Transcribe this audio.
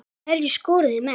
Hverjir skoruðu mest?